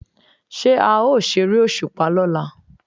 Ṣé a ó ṣeré òṣùpá lọ́la?